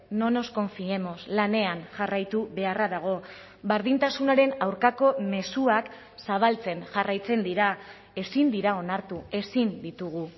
no nos confíemos lanean jarraitu beharra dago berdintasunaren aurkako mezuak zabaltzen jarraitzen dira ezin dira onartu ezin ditugu